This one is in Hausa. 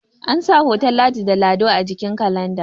ansa hoton ladi da lado a jikin kalanda